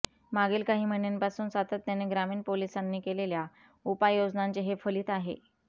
मागील काही महिन्यांपासून सातत्याने ग्रामीण पोलिसांनी केलेल्या उपाययोजनांचे हे फलीत आहे